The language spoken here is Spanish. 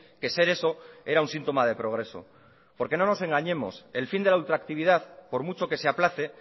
que ser eso era un síntoma de progreso porque no nos engañemos el fin de la ultractividad por mucho que se aplace